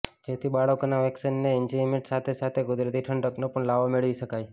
જેથી બાળકોનાં વેકેશનનાં એન્જોયમેન્ટ સાથે સાથે કુદરતી ઠંડકનો પણ લાવો મેળવી શકાય